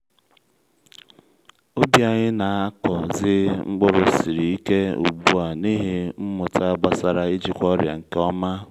ubi anyị na-akọzi mkpụrụ siri ike ugbu a n’ihi mmụta gbasara ijikwa ọrịa nke ọma